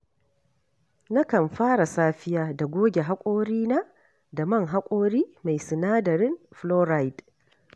Nakan fara safiya da goge haƙorana da man haƙori mai sinadarin fluoride.